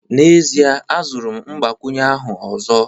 N'ezie, azụrụ m mgbakwunye ahụ ọzọ